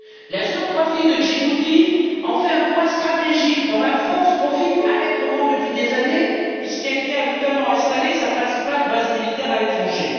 La géographie de Djibouti en fait un point stratégique dont la France profite allègrement depuis des années, puisqu'elle y a notamment installé sa principale base militaire à l'étranger.